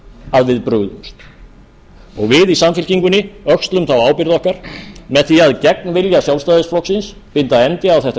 að við brugðumst við í samfylkingunni öxlum þá ábyrgð okkar með því að gegn vilja sjálfstæðisflokksins binda endi á þetta